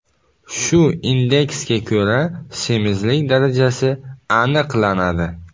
Shu indeksga ko‘ra semizlik darajasi aniqlanadi.